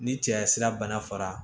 Ni cɛya sira bana fara